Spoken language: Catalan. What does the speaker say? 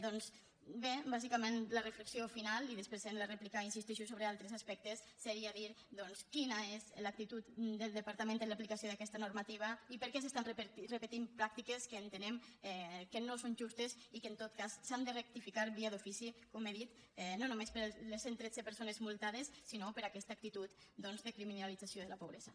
doncs bé bàsicament la reflexió final i després en la rèplica insisteixo sobre altres aspectes seria dir doncs quina és l’actitud del departament en l’aplicació d’aquesta normativa i per què s’estan repetint pràctiques que entenem que no són justes i que en tot cas s’han de rectificar via d’ofici com he dit no només per les cent tretze persones multades sinó per aquesta actitud doncs de criminalització de la pobresa